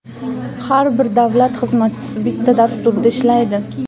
Har bir davlat xizmatchisi bitta dasturda ishlaydi.